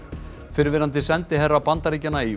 fyrrverandi sendiherra Bandaríkjanna í